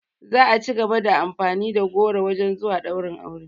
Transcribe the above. Za a cigaba da amfani da goro wajen zuwa ɗaurin aure